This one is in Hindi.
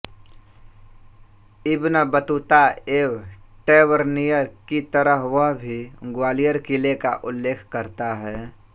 इब्नबतूता एवं टैवर्नियर की तरह वह भी ग्वालियर किले का उल्लेख करता है